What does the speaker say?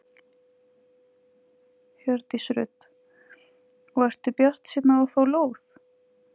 Hjördís Rut: Og ertu bjartsýn á að fá lóð?